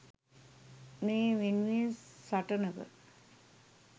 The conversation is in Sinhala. මේ වෙනුවෙන් සටනක